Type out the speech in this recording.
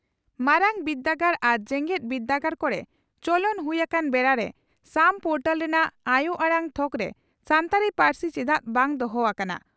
ᱢᱟᱨᱟᱝ ᱵᱤᱨᱫᱟᱹᱜᱟᱲ ᱟᱨ ᱡᱮᱜᱮᱛ ᱵᱤᱨᱫᱟᱹᱜᱟᱲ ᱠᱚᱨᱮ ᱪᱚᱞᱚᱱ ᱦᱩᱭ ᱟᱠᱟᱱ ᱵᱮᱲᱟᱨᱮ ᱥᱟᱢ ᱯᱚᱨᱴᱟᱞ ᱨᱮᱱᱟᱜ ᱟᱭᱚ ᱟᱲᱟᱝ ᱛᱷᱚᱠᱨᱮ ᱥᱟᱱᱛᱟᱲᱤ ᱯᱟᱹᱨᱥᱤ ᱪᱮᱫᱟᱜ ᱵᱟᱝ ᱫᱚᱦᱚ ᱟᱠᱟᱱᱟ